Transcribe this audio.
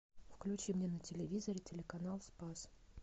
включи мне на телевизоре телеканал спас